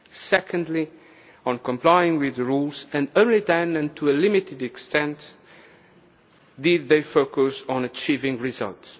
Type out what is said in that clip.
available, secondly on complying with the rules, and only then and to a limited extent did they focus on achieving